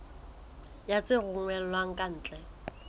ya tse romellwang ka ntle